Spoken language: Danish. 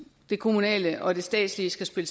det kommunale og det statslige